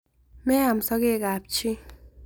Meam sokeekab chii